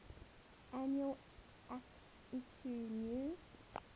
annual akitu new